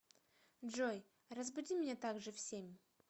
джой разбуди меня так же в семь